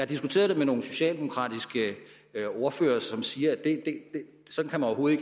diskuteret det med nogle socialdemokratiske ordførere som siger at man overhovedet